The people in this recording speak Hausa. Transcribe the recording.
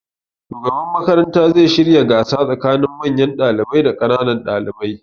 Shugaban makaranta zai shirya gasa tsakanin manyan ɗalibai da ƙananan ɗalibai.